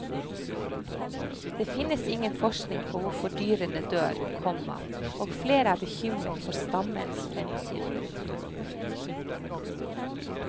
Det finnes ingen forskning på hvorfor dyrene dør, komma og flere er bekymret for stammens fremtid. punktum